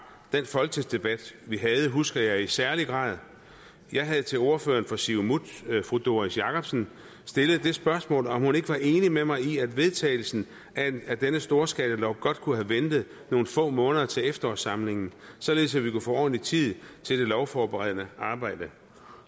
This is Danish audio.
den folketingsdebat vi havde husker jeg i særlig grad jeg havde til ordføreren fra siumut fru doris jakobsen stillet det spørgsmål om hun ikke var enig med mig i at vedtagelsen af denne storskalalov godt kunne have ventet nogle få måneder til efterårssamlingen således at vi kunne få ordentlig tid til det lovforberedende arbejde